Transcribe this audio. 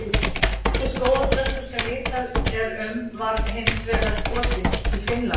Elsti skógarþröstur sem vitað er um var hins vegar skotinn í Finnlandi.